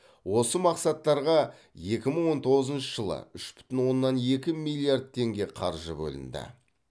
осы мақсаттарға екі мың он тоғызыншы жылы үш бүтін оннан екі миллиард теңге қаржы бөлінді